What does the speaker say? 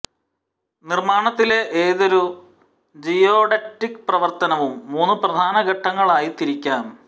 നിർമ്മാണത്തിലെ ഏതൊരു ജിയോഡറ്റിക് പ്രവർത്തനവും മൂന്നു പ്രധാന ഘട്ടങ്ങളായി തിരിക്കാം